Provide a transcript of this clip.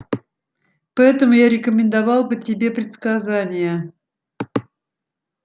поэтому я рекомендовал бы тебе предсказания